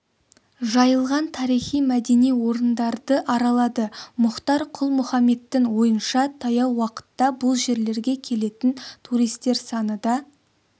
жайылған тарихи-мәдени орындарды аралады мұхтар құл-мұхаммедтің ойынша таяу уақытта бұл жерлерге келетін туристер саны да